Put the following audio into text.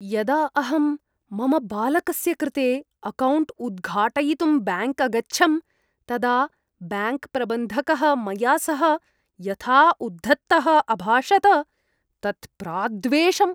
यदा अहं मम बालकस्य कृते अकौण्ट् उद्घाटयितुं ब्याङ्क् अगच्छं, तदा ब्याङ्क्प्रबन्धकः मया सह यथा उद्धतः अभाषत तत् प्राद्वेषम्।